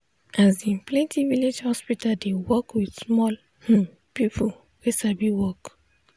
asin plenti village hospital dey work with small hmm people wey sabi work.